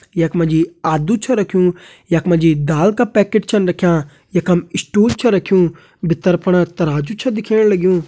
यख मा जी आदु छ रख्युं यख मा जी दाल का पैकेट छन रख्यां यखम स्टूल छ रख्युं भितर फणा तराजु छ दिखेण लग्युं।